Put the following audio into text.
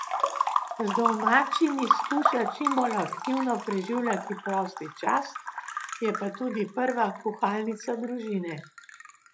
Z domačimi skuša čim bolj aktivno preživljati prosti čas, je pa tudi prva kuhalnica družine.